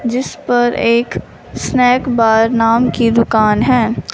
जिस पर एक स्नैक बार नाम की दुकान है।